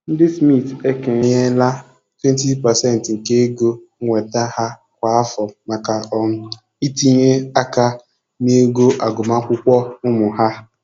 Ndị Smiths ekenyela 20% nke ego nnweta ha kwa afọ maka um itinye aka na ego agụmakwụkwọ ụmụ ha.